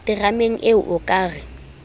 terameng ee o ka re